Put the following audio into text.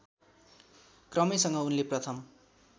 क्रमैसँग उनले प्रथम